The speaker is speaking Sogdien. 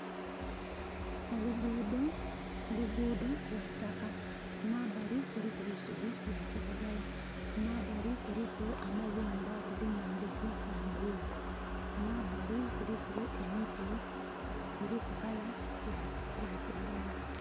Oluguudo lwaitaka kumabali kuliku eisubi lya kiragala, kumabali kuliku amayumba galimu endhigi dha bululu, kumbali kuliku emiti giriku color yakiragala.